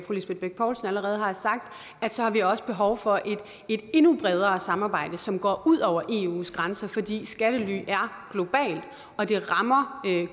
lisbeth bech poulsen allerede har sagt at så har vi også behov for et endnu bredere samarbejde som går ud over eus grænser fordi skattely er globalt og det rammer